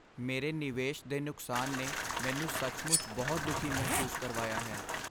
ਮੇਰੇ ਨਿਵੇਸ਼ ਦੇ ਨੁਕਸਾਨ ਨੇ ਮੈਨੂੰ ਸੱਚਮੁੱਚ ਬਹੁਤ ਦੁਖੀ ਮਹਿਸੂਸ ਕਰਵਾਇਆ ਹੈ।